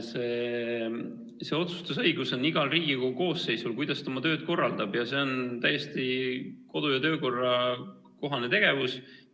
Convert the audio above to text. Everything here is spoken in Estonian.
See otsustusõigus on igal Riigikogu koosseisul, kuidas ta oma tööd korraldab, ja see on täiesti kodu- ja töökorra kohane tegevus.